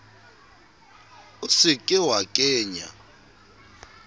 o se ke wa kenya